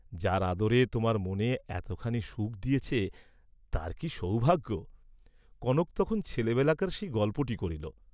যার আদরে তােমার মনে এতখানি সুখ দিয়েছে তার কি সৌভাগ্য কনক তখন ছেলেবেলাকার সেই গল্পটি করিল।